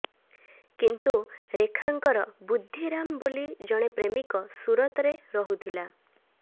କିନ୍ତୁ ରେଖାଙ୍କର ବୁଦ୍ଧିରାମ ବୋଲି ଜଣେ ପ୍ରେମିକ ସୁରତରେ ରହୁଥିଲା